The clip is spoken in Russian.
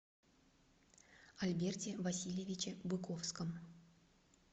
альберте васильевиче быковском